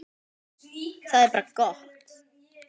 Það er bara gott.